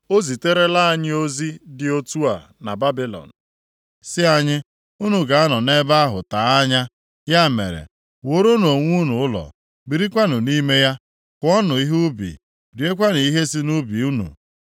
O ziterela anyị ozi dị otu a na Babilọn sị anyị, Unu ga-anọ nʼebe ahụ tee anya. Ya mere, wuoronụ onwe unu ụlọ, birikwanụ nʼime ya. Kụọnụ ihe nʼubi, riekwanụ ihe si nʼubi unu.’ ”